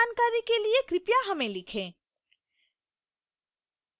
अधिक जानकारी के लिए कृपया हमें लिखें